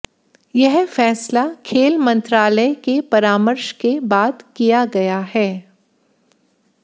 यह फैसला खेल मंत्रालय के परामर्श के बाद किया गया है